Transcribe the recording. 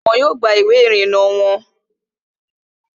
Wọn yóò gba ìwé ìrìnnà wọon